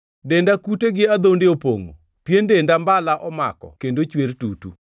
Denda kute gi adhonde opongʼo, pien denda mbala omako kendo chwer tutu.